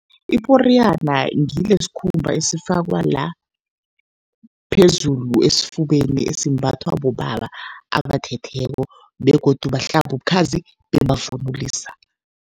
Iporiyana ngilesikhumba esifakwa la phezulu esifubeni, esimbathwa bobaba abathetheko begodu bahlaba ubukhazi bebavunulisa.